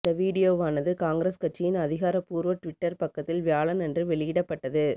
அந்த விடியோவானது காங்கிரஸ் கட்சியின் அதிகாரப்பூர்வ ட்விட்டர் பக்கத்தில் வியாழன் அன்று வெளியிடப்பட்டது